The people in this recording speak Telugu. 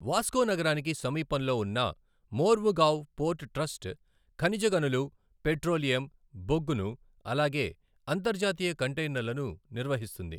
వాస్కో నగరానికి సమీపంలో ఉన్న మోర్ముగావ్ పోర్ట్ ట్రస్ట్ ఖనిజ గనులు, పెట్రోలియం, బొగ్గును అలాగే అంతర్జాతీయ కంటైనర్లను నిర్వహిస్తుంది.